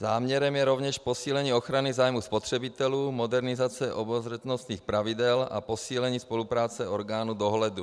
Záměrem je rovněž posílení ochrany zájmu spotřebitelů, modernizace obezřetnostních pravidel a posílení spolupráce orgánů dohledu.